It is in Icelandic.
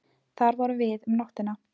Þar vorum við um nóttina.